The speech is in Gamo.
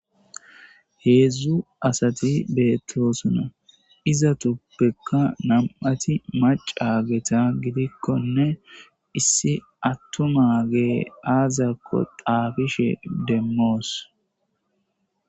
Hedzdzu asati betosona ,izetuppekka nam''ati macageta gidikkonne ,issi atumageyi azakko xaafishe demos.